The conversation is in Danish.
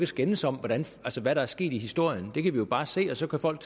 skændes om hvad der er sket i historien det kan vi jo bare se og så kan folk